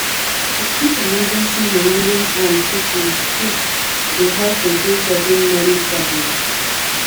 to keep emergency money wey hand fit reach quick dey help reduce sudden money problem